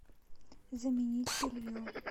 заменить белье